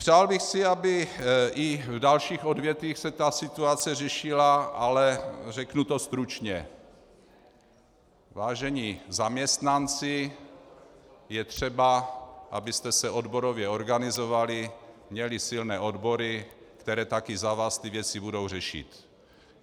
Přál bych si, aby i v dalších odvětvích se ta situace řešila, ale řeknu to stručně: Vážení zaměstnanci, je třeba, abyste se odborově organizovali, měli silné odbory, které také za vás ty věci budou řešit.